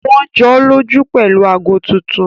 Wọ́n jọ́lọ́jú pẹ̀lú ago tuntun